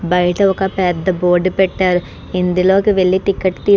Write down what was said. బయట ఒక పెద్ద బోర్డు పెట్టారు. అందులోకి వెళ్లి టికెట్ తీ --